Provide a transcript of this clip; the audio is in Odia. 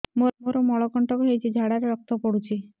ମୋରୋ ମଳକଣ୍ଟକ ହେଇଚି ଝାଡ଼ାରେ ରକ୍ତ ପଡୁଛି